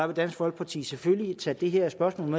vil dansk folkeparti selvfølgelig tage det her spørgsmål